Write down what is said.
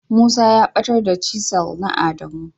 Musa ya batar da "chisel " na adamu.